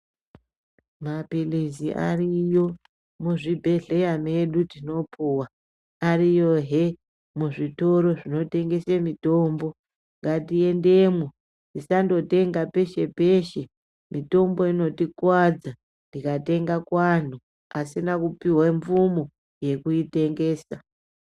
Mapirizi ariyo muzvibhedhlera medu tinopuwa ariyo hee muzvitoro zvinotengese mitombo ngatiendemo tisangotenda peshe peshe mitombo inotikuvadza tikatenga kuvanhu vasina kupiwa mvumo yekuitengesa .